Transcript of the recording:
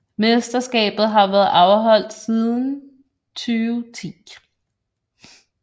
Mesterskabet har været afholdt siden 2010